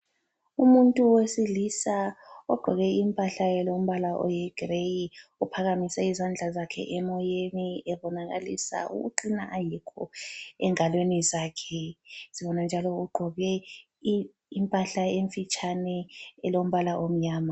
Umuntu wesilisa ogqoke impahla elombala oyigireyi uphakamise izandla zakhe emoyeni ebonakalisa ukuqina ayikho engalweni zakhe zona njalo ugqoke impahla emfitshane elombala omnyama.